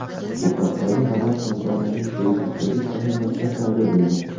Bu haqdagi xabar kompaniyaning Facebook’dagi sahifasida paydo bo‘lgan.